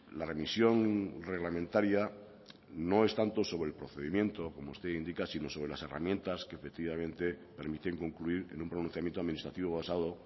la remisión reglamentaria no es tanto sobre el procedimiento como usted indica si no sobre las herramientas que efectivamente permiten concluir en un pronunciamiento administrativo basado